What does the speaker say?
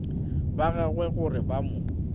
ba gagwe gore ba mo